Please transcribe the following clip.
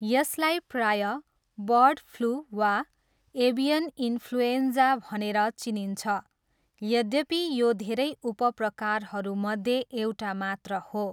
यसलाई प्रायः 'bird flu' वा 'एभियन इन्फ्लुएन्जा' भनेर चिनिन्छ, यद्यपि यो धेरै उपप्रकारहरूमध्ये एउटा मात्र हो।